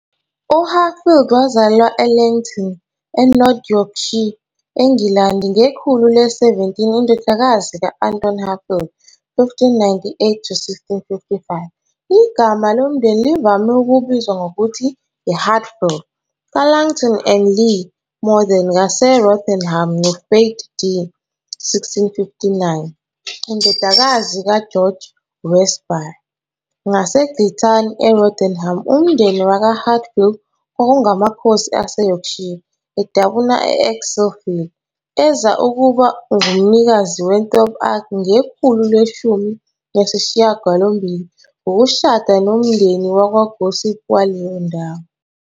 UHatfield wazalelwa eLeighton, eNorth Yorkshire, eNgilandi ngekhulu le-17, indodakazi ka-Anthony Hatfield, 1598-1655 igama lomndeni livame ukubizwa ngokuthi "Hatfeild", kaLaughton-en-le-Morthen, ngaseRotherham, noFaith, d. 1659, indodakazi kaGeorge Westby, waseGilthwaite, eRotherham. Umndeni wakwaHatfield kwakungamakhosi aseYorkshire, adabuka e-Ecclesfield, eza ukuba ngumnikazi we- Thorp Arch ngekhulu leshumi nesishiyagalombili ngokushada nomndeni wakwaGossip waleyo ndawo.